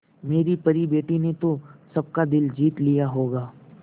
मेरी परी बेटी ने तो सबका दिल जीत लिया होगा